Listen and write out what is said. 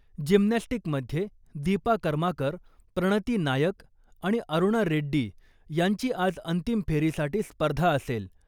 Gymnastic मध्ये दीपा कर्माकर, प्रणती नायक आणि अरुणा रेड्डी यांची आज अंतिम फेरीसाठी स्पर्धा असेल.